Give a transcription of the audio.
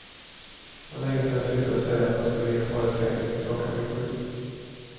Det var länge sedan jag slutade säga att han skulle ligga kvar i sängen tills klockan blev sju.